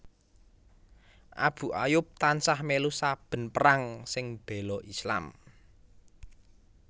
Abu Ayyub tansah mèlu saben perang sing béla Islam